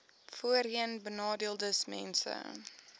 voorheenbenadeeldesmense